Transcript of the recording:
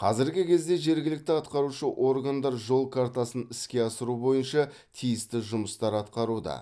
қазіргі кезде жергілікті атқарушы органдар жол картасын іске асыру бойынша тиісті жұмыстар атқаруда